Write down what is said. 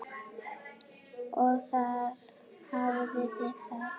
Og þar hafið þið það!